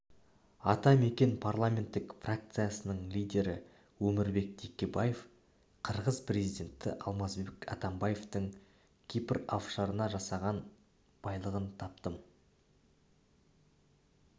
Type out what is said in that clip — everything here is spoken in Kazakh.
ата мекен парламенттік фракциясының лидері өмірбек текебаев қырғыз президенті алмазбек атамбаевтың кипр оффшорына жасырған байлығын таптым